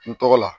N tɔgɔ la